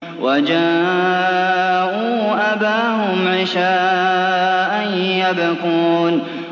وَجَاءُوا أَبَاهُمْ عِشَاءً يَبْكُونَ